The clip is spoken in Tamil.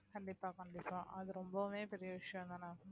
கண்டிப்பா கண்டிப்பா அது ரொம்பவுமே பெரிய விஷயம்தானா